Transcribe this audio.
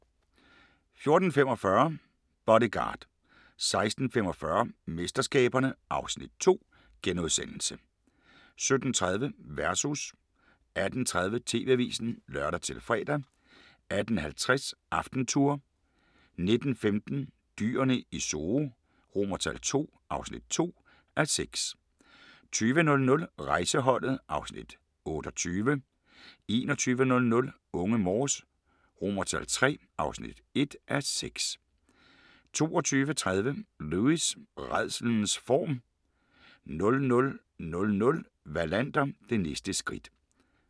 14:45: Bodyguard 16:45: MesterSkaberne (Afs. 2)* 17:30: Versus 18:30: TV-avisen (lør-fre) 18:50: AftenTour 19:15: Dyrene i Zoo II (2:6) 20:00: Rejseholdet (Afs. 28) 21:00: Unge Morse III (1:6) 22:30: Lewis: Rædslens form 00:00: Wallander: Det næste skridt